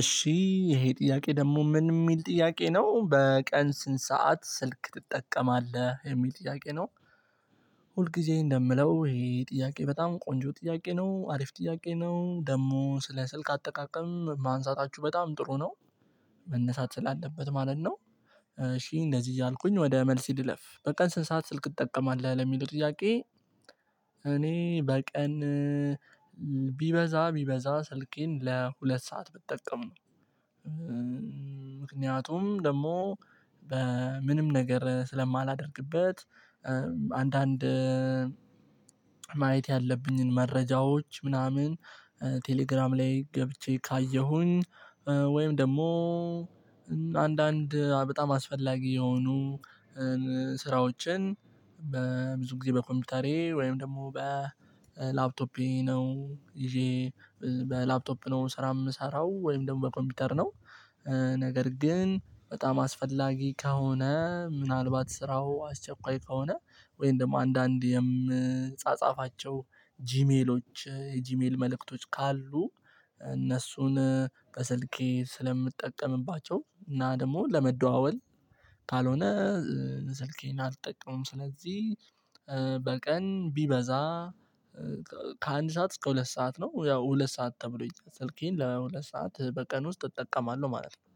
እሺ ይሄ ጥያቄ ደግሞ ምን የሚል ጥያቄ ነው በቀን ስንት ሰዓት ስልክ ትጠቀማለህ የሚል ጥያቄ ነው? ሁልጊዜ እንደምለው ይሄ ጥያቄ በጣም ቆንጆ ጥያቄ ነው አሪፍ ጥያቄ ነው ደግሞ ስለ ስልክ አጠቃቀም ማንሳታችሁ በጣም ጥሩ ነው መነሳት ስላለበት ማለት ነው። እሺ እንደዚህ እያልኩኝ ወደ መልሴ ልለፍ በቀን ስንት ሰዓት ስልክ ትጠቀማለህ ለሚሉ ጥያቄ እኔ በቀን ቢበዛ ቢበዛ ስልኬን ለሁለት ሰዓት ብጠቀም ነው። ምክንያቱም ደግሞ በምንም ነገር ስለማላደርግበት። አንዳንድ ማየት ያለብኝን መረጃዎች ምናምን ቴሌግራም ላይ ገብቼ ካየሁኝ። ወይም ደግሞ አንዳንድ በጣም አስፈላጊ የሆኑ ስራዎችን በብዙ ጊዜ በኮምፒውተሬ ወይም ደግሞ በላፕቶፔ ነው ይዤ በላፕቶፕ ነው ስራ የምሰራው ወይም ደግሞ በኮምፒውተር ነው። ነገር ግን በጣም አስፈላጊ ከሆነ ምናልባት ስራው አስቸኳይ ከሆነ ወይም ደግሞ አንዳንድ የምጻጻፋቸው ጂሜሎች የጂሜል መልእክቶች ካሉ እነሱን በስልኬ ስለምጠቀምባቸው እና ደግሞ ለመደዋወል ካልሆነ ስልኬን አልጠቀሙም። ስለዚህ በቀን ቢበዛ ከአንድ ሰዓት እስከ ሁለት ሰዓት ነው ያው ሁለት ሰዓት ተብሎ ስልኬን ለሁለት ሰዓት በቀን ውስጥ እጠቀማለሁ ማለት ነው።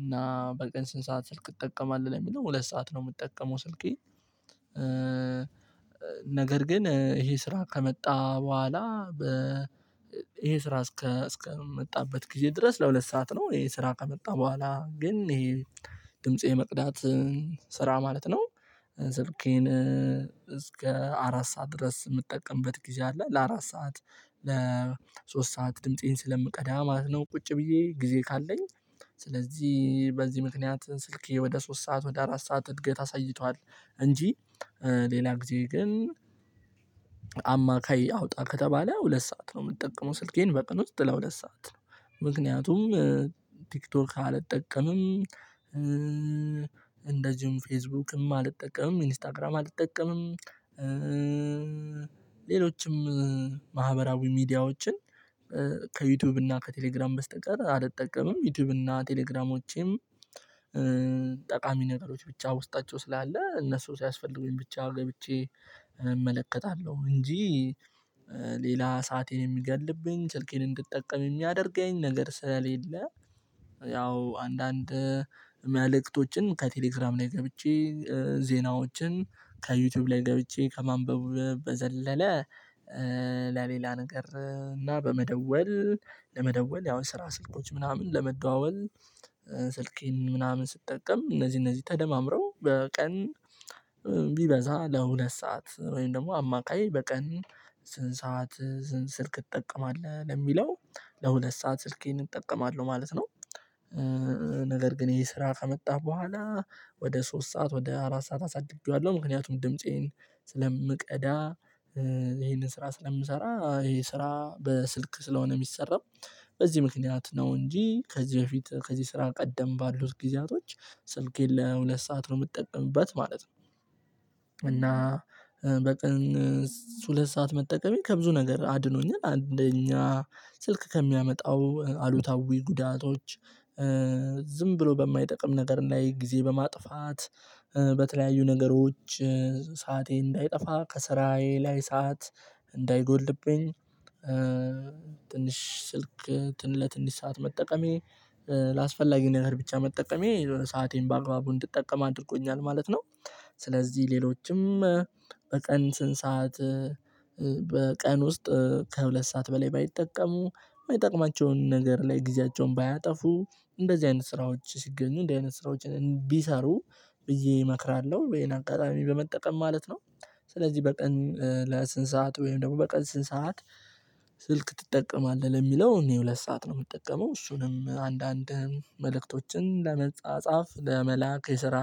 እና በቀን ስንት ሰዓት ስልክ ትጠቀማለህ ለሚለው ሁለት ሰዓት ነው የምትጠቀመው ስልኬ። ነገር ግን ይሄ ስራ ከመጣ በኋላ በ ይሄ ስራ እስከ እስከመጣበት ጊዜ ድረስ ለሁለት ሰዓት ነው ይሄ ስራ ከመጣ በኋላ ግን ይሄ ድምጽ መቅዳት ስራ ማለት ነው። ስልኬን እስከ አራት ሰዓት ድረስ የምጠቀምበት ጊዜ አለ ለአራት ሰዓት ለሶስት ሰዓት ድምፄን ስለምቀዳ ማለት ነው። ቁጭ ብዬ ጊዜ ካለኝ ስለዚህ በዚህ ምክንያት ስልኬ ወደ ሶስት ሰዓት ወደ አራት ሰዓት እድገት አሳይቷል። እንጂ ሌላ ጊዜ ግን አማካይ አውጣ ከተባለ ሁለት ሰዓት ነው የምጠቀመው ስልኬን በቀን ውስጥ ለሁለት ሰዓት ነው። ምክንያቱም ቲክቶክ አልጠቀምም እንደዚሁም ፌስቡክም አልጠቀምም ኢንስታግራም አልጠቀምም። ሌሎችም ማህበራዊ ሚዲያዎችን ከዩቲዩብ እና ከቴሌግራም በስተቀር አልጠቀምም። ዩቲዩብ እና ቴሌግራሞቼም ጠቃሚ ነገሮች ብቻ ውስጣቸው ስላለ እነሱ ሲያስፈልጉኝ ብቻ ገብቼ እመለከታለሁ እንጂ። ሌላ ሰአቴን የሚገልብኝ ስልኬን እንድትጠቀም የሚያደርገኝ ነገር ስለሌለ። ያው አንዳንድ መልእክቶችን ከቴሌግራም ላይ ገብቼ ዜናዎችን ከዩቲዩብ ላይ ገብቼ ከማንበብ በዘለለ ለሌላ ነገር እና በመደወል ለመደወል ያው ስራ ስልኮች ምናምን ለመደዋወል ስልኬን ምናምን ስጠቀም እነዚህ እነዚህ ተደማምረው በቀን ቢበዛ ለሁለት ሰዓት ወይም ደግሞ አማካይ በቀን ስንት ሰዓት ስልክ እጠቀማለህ ለሚለው ለሁለት ሰዓት ስልኬን እጠቀማለሁ ማለት ነው። ነገር ግን ይሄ ስራ ከመጣ በኋላ ወደ ሶስት ሰዓት ወደ አራት ሰዓት አሳድጌዋለሁ ምክንያቱም ድምፄን ስለምቀዳ ይሄንን ስራ ስለምሰራ ይሄ ስራ በስልክ ስለሆነ የሚሰራው በዚህ ምክንያት ነው እንጂ ከዚህ በፊት ከዚህ ስራ ቀደም ባሉት ጊዜያቶች ስልኬን ለሁለት ሰዓት ነው የምጠቀምበት ማለት ነው። እና በቀን ሁለት ሰዓት መጠቀሜ ከብዙ ነገር አድኖኛል አንደኛ ስልክ ከሚያመጣው አሉታዊ ጉዳቶች ዝም ብሎ በማይጠቅም ነገር ላይ ጊዜ በማጥፋት በተለያዩ ነገሮች ሰዓቴ እንዳይጠፋ ከስራዬ ላይ ሰዓት እንዳይጎልብኝ ትንሽ ስልክ ለትንሽ ሰዓት መጠቀሜ ላስፈላጊ ነገር ብቻ መጠቀሜ የሆነ ሰአቴን በአግባቡ እንድጠቀም አድርጎኛል ማለት ነው። ስለዚህ ሌሎችም በቀን ስንት ሰዓት በቀን ውስጥ ከሁለት ሰዓት በላይ ባይጠቀሙ የማይጠቅማቸውን ነገር ላይ ጊዜያቸውን ባያጠፉ እንደዚህ አይነት ስራዎች ሲገኙ እንደዚህ አይነት ስራዎች ቢሰሩ ብዬ እመክራለሁ ይሄን አጋጣሚ በመጠቀም ማለት ነው። ስለዚህ በቀን ለስንት ሰዓት ወይም ደግሞ በቀን ስንት ሰዓት ስልክ ትጠቀማለህ ለሚለው እኔ ሁለት ሰዓት ነው የምጠቀመው እሱንም አንዳንድ መልእክቶችን ለመጻጻፍ ለመላክ የስራ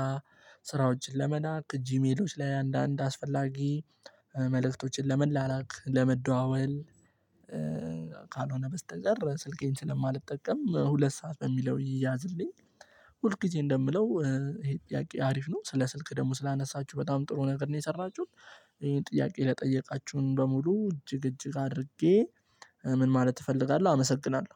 ስራዎችን ለመላክ ጂሜሎች ላይ አንዳንድ አስፈላጊ መልእክቶችን ለመላላክ ለመደዋወል ካልሆነ በስተቀር ስልኬን ስለማልጠቀም ሁለት ሰዓት በሚለው ይይዝልኝ ሁል ጊዜ እንደምለው ይሄ ጥያቄ አሪፍ ነው ስለ ስልክ ደግሞ ስላነሳችሁ በጣም ጥሩ ነገር ነው የሰራችሁት። ይሄን ጥያቄ ለጠየቃችሁን በሙሉ እጅግ እጅግ አድርጌ ምን ማለት እፈልጋለሁ አመሰግናለሁ